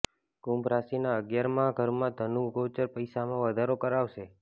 કુંભ રાશિના અગિયારમાં ઘરમાં ધનુ ગોચર પૈસામાં વધારો કરાવશે